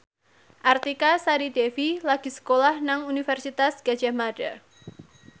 Artika Sari Devi lagi sekolah nang Universitas Gadjah Mada